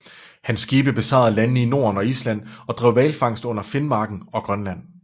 Hans skibe besejlede landene i Norden og Island og drev hvalfangst under Finmarken og Grønland